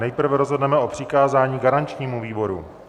Nejprve rozhodneme o přikázání garančnímu výboru.